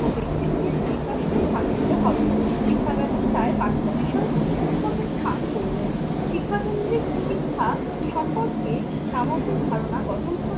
ব্যাক্তিত্বের বিকাশকে স্থান দিতে হবে। শিক্ষা ব্যবস্থায় পাঠ্য বিষয় ও শিক্ষকের স্থান গৌন। শিক্ষা কেন্দ্রের শিক্ষা সম্পর্কে সামগ্রিক ধারণা গঠন করার